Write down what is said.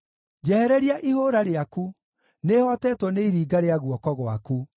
Njehereria ihũũra rĩaku; nĩhootetwo nĩ iringa rĩa guoko gwaku.